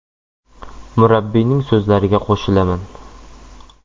Murabbiyning so‘zlariga qo‘shilaman.